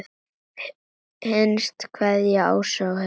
Hinsta kveðja, Ásta og Heiðar.